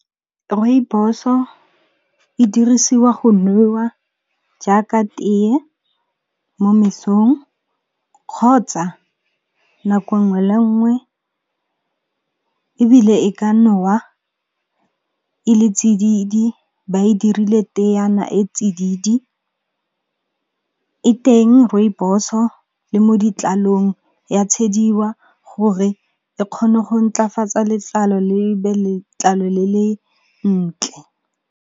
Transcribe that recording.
Rooibos-o e dirisiwa go newa jaaka teye mo mesong kgotsa nako 'nngwe le e nngwe, ebile e ka nowa e le tsididi ba e dirile teeana e tsididi. E teng rooibos-o le mo ditlalong ya tshwediwa go re e kgone go ntlafatsa letlalo le be letlalo le le ntle.